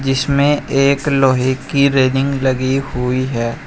जिसमें एक लोहे की रेलिंग लगी हुई है।